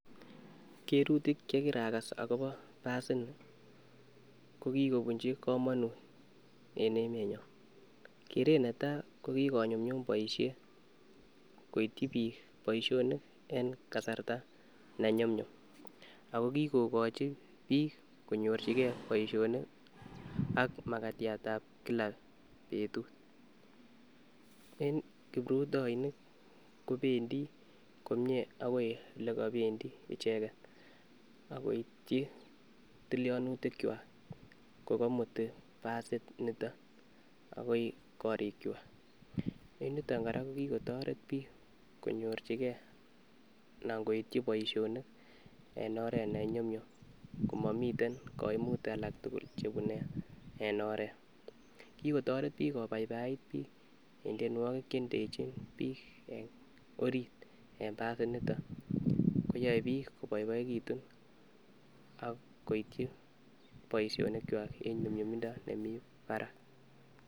Cherutik chkirakas akobo basit nii kokikobunchi komonut en emenyon, keret netai kokikonyumyum boishet koityi bik boishonik en kasarta nenyumyum ako kikokochi bik konyorchigee boishonik ak makatyat ab kila betut, en kiprutoinik kobendii komie akoi elekopendii ichket ak koityi tilyonutik kwa kokomuti basit niton akoi korikwak. En yuton koraa kokikotoret bik konyorchi gee anan koityi boishonik en oret neyumyum komoniten koimutik alak tukul chebune en oret. Kikotoret bik kobaibait bik en tyenuoki chendechin bik en orit en basit niton koyoe bik koboiboekitun ak koityi boishonik kwak en nyumyumindo nemii barak.